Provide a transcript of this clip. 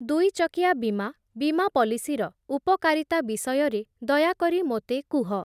ଦୁଇ ଚକିଆ ବୀମା ବୀମା ପଲିସିର ଉପକାରିତା ବିଷୟରେ ଦୟାକରି ମୋତେ କୁହ।